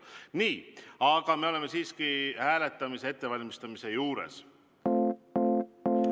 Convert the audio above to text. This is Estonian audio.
Nii, aga me oleme siiski hääletamise ettevalmistamise juures.